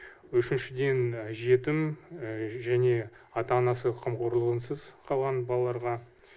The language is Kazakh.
үшіншіден жетім және ата анасы қамқорлығынсыз қалған балаларға